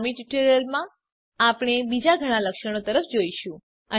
અનુગામી ટ્યુટોરીયલોમાં આપણે બીજા ઘણા લક્ષણો તરફ જોઈશું